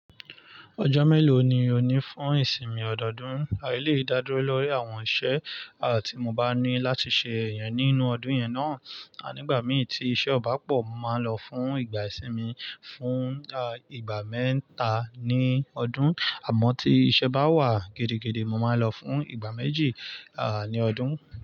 Ọjọ́ mélòó ni o ní fún ìsinmi ọdọọdún? A lè dádúró lórí àwọn iṣẹ́ à tí mo bá ní láti ṣe ẹyán nínú ọdún yẹn náà. A nígbà mí tí iṣẹ́ ọ̀ bá pọ̀, màá lọ fún ìgbà ìsinmi fún ìgbà mẹ́ta ní ọdún. Àmọ́ tí iṣẹ́ bá wà gídí gídí, mo máa ń lò fún ìgbà méjì, ó dùn.